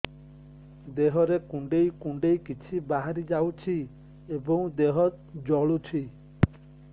ଦେହରେ କୁଣ୍ଡେଇ କୁଣ୍ଡେଇ କିଛି ବାହାରି ଯାଉଛି ଏବଂ ଦେହ ଜଳୁଛି